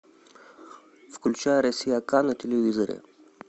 включай россия ка на телевизоре